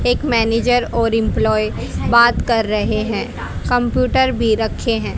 एक मैनेजर और एम्पलाई बात कर रहे हैं कंप्यूटर भी रखे हैं।